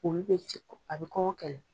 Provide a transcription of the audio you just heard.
Olu bɛ sekɔ, a bɛ kɔngɔ kɛlɛ